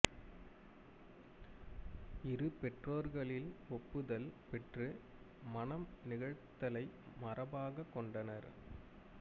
இரு பெற்றோர்களில் ஒப்புதல் பெற்று மணம் நிகழ்த்தலை மரபாகக் கொண்டனர்